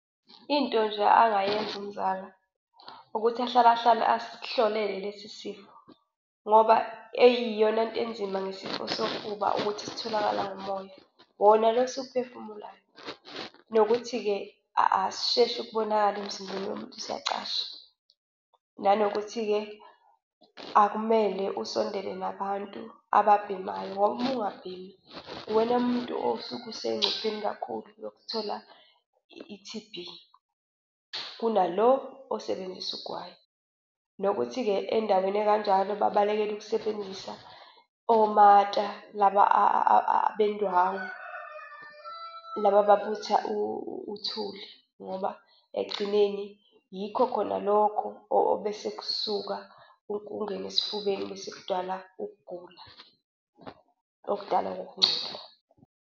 Into nje angayenza umzala ukuthi ahlale ahlale asihlolele lesi sifo ngoba eyiyona nto enzima ngesifo sofuba ukuthi sitholakala ngomoya, wona lo esiwuphefumulayo, nokuthi-ke asisheshi ukubonakala emzimbeni womuntu siyacasha. Nanokuthi-ke akumele usondele nabantu ababhemayo, ngoba uma ungabhemi, uwena umuntu osuke usengcupheni kakhulu yokuthola i-T_B kunalo osebenzisa ugwayi, nokuthi-ke endaweni ekanjalo babalekela ukusebenzisa omata laba abendwangu laba ababutha uthuli ngoba ekugcineni yikho khona lokho obesekusuka kungene esifubeni bese kudala ukugula okudalwa ukungcola.